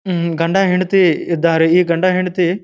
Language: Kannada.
ಉಹ್ ಗಂಡ ಹೆಂಡತಿ ಇದ್ದಾರೆ ಈ ಗಂಡ ಹೆಂಡತಿ--